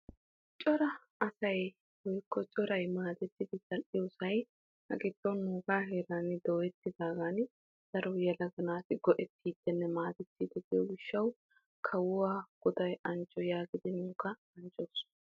Coraa asay woykko coray maadettiddi zal'oyosay dooyettiddo gishawu asay ubbay kawuwa goday anjjo gees.